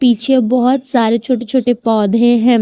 पीछे बहोत सारे छोटे छोटे पौधे हैं।